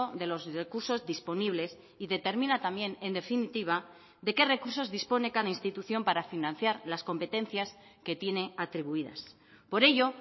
de los recursos disponibles y determina también en definitiva de qué recursos dispone cada institución para financiar las competencias que tiene atribuidas por ello